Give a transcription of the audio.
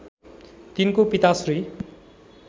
तिनको पिता श्री